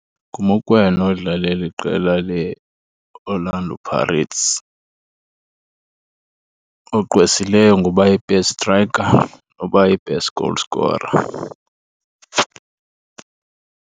NguMokoena odlalalela iqela leOrlando Pirates ogqwesileyo ngoba yi-best striker nobayi-best goal scorer.